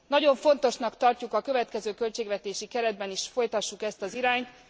Nagyon fontosnak tartjuk, hogy a következő költségvetési keretben is folytassuk ezt az irányt.